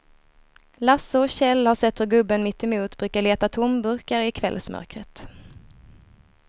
Lasse och Kjell har sett hur gubben mittemot brukar leta tomburkar i kvällsmörkret.